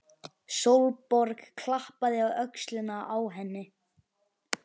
Sólborg klappaði á öxlina á henni.